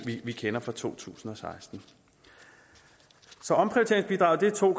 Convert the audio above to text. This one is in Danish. vi kender for to tusind og seksten så omprioriteringsbidraget er to